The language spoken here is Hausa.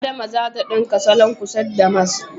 Adama zata ɗinka salon kuset da damask